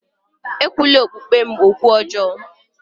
Ekwula okpukpe m okwu ọjọọ!